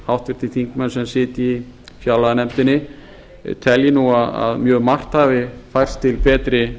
háttvirtir þingmenn sem sitja í fjárlaganefndinni telji nú að mjög margt hafi færst til betri